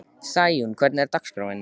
Sæunn, hvernig er dagskráin?